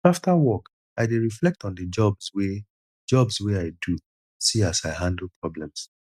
after work i dey reflect on the jobs wey jobs wey i do see as i handle problems